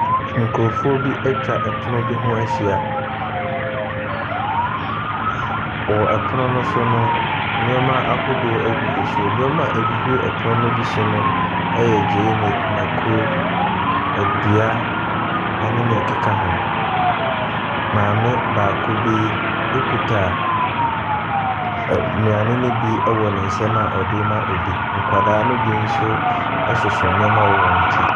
Nkorɔfoɔ bi atwa ɛpno bi ho ahyia. Wɔ ɛpono no so no nneɛma ahodoɔ gugu so. Nnoɔma a ɛgu ɛpono no so bi no ɛyɛ gyeene, mako, adua ɛne neɛ ɛkeka ho. Maame baako bi ɛkuta nnuane ne bi wɔ ne nsɛm a ɔdee ma obi. Nkwadaa no bi nso ɛsoso nnoɔma wɔn ti.